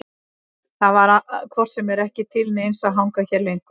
Það var hvort sem er ekki til neins að hanga hérna lengur.